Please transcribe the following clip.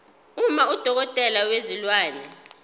uma udokotela wezilwane